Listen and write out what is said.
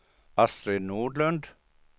Astrid Nordlund